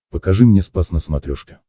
покажи мне спас на смотрешке